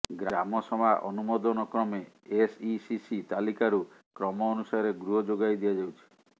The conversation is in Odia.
ଗ୍ରାମସଭା ଅନୁମୋଦନ କ୍ରମେ ଏସଇସିସି ତାଲିକାରୁ କ୍ରମ ଅନୁସାରେ ଗୃହ ଯୋଗାଇ ଦିଆଯାଉଛି